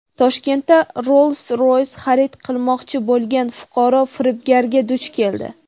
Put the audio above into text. Toshkentda "Rolls-Roys" xarid qilmoqchi bo‘lgan fuqaro firibgarga duch keldi.